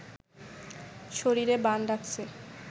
শরীরে বান ডাকছে